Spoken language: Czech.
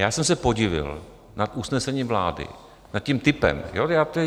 Já jsem se podivil nad usnesením vlády, nad tím typem.